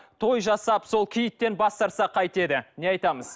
той жасап сол киіттен бас тартса қайтеді не айтамыз